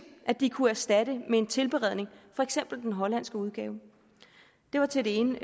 de kunne erstatte med en tilberedning for eksempel den hollandske udgave det var til det ene